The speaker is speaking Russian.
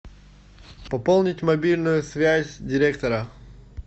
пополнить мобильную связь директора